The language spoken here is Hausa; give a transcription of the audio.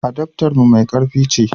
adaftan mu mai karfi ce